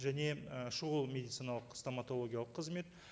және і шұғыл медициналық стоматологиялық қызмет